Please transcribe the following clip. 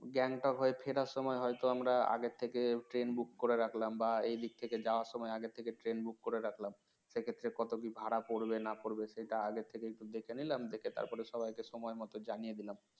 gangtok হয়ে ফেরার সময় হয়তো আমরা আগে থেকে train book করে রাখলাম বা এইদিক থেকে যাওয়ার সময় আগে থেকে train book করে রাখলাম সে ক্ষেত্রে কত কি ভাড়া পড়বে না পড়বে সেটাও আগে থেকে দেখে নিলাম দেখে তার পরে সবাইকে সময়মতো জানিয়ে দিলাম